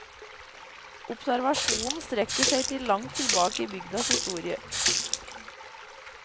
Observasjonen strekker seg langt tilbake i i bygdas historie.